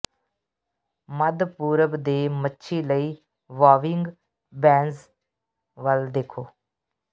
ਮੱਧ ਪੂਰਬ ਦੇ ਮੱਛੀ ਲਈ ਵਾਵਿੰਗ ਬੈਜ਼ ਵੱਲ ਦੇਖੋ